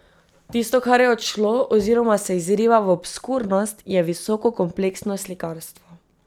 Tisto, kar je odšlo, oziroma se izriva v obskurnost, je visoko, kompleksno slikarstvo.